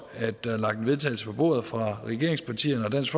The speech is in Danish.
at der er lagt vedtagelse på bordet fra regeringspartierne og dansk